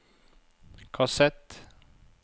kassett